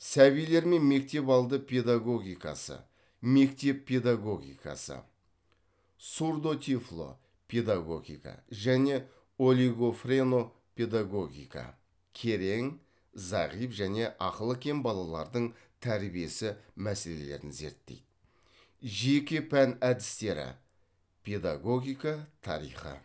сәбилер мен мектепалды педагогикасы мектеп педагогикасы сурдотифло педагогика және олигофрено педагогика керең зағип және ақылы кем балалардың тәрбиесі мәселелерін зерттейді жеке пән әдістері педагогика тарихы